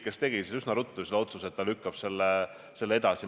Korraldajad tegid üsna ruttu otsuse, et lükkavad selle edasi.